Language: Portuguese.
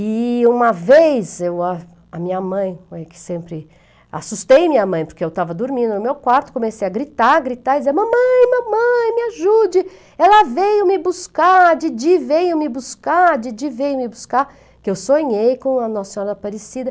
E uma vez, eu a, a minha mãe mãe que sempre... assustei minha mãe, porque eu estava dormindo no meu quarto, comecei a gritar, gritar, e dizer, mamãe, mamãe, me ajude, ela veio me buscar, Didi veio me buscar, Didi veio me buscar, que eu sonhei com a Nossa Senhora Aparecida.